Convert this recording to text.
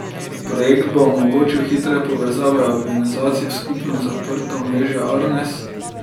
Projekt bo omogočil hitre povezave organizacij v skupno zaprto omrežje Arnes.